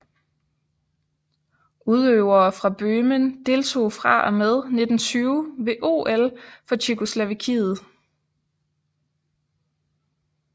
Udøvere fra Bøhmen deltog fra og med 1920 ved OL for Tjekkoslovakiet